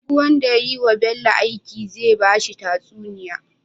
Duk wanda yayi wa Bello aiki zai bashi tatsuniya